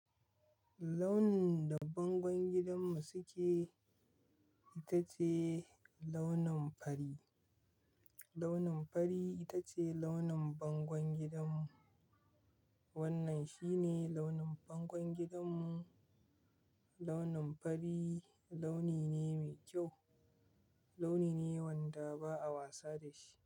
Launin da bangon gidanmu suke, itace launin fari. Launin fari itace launin bangon gidanmu. Wannan shine launin bangon gidanmu. Launin fari launi ne mai kyau, launi ne wanda ba a wasa dashi.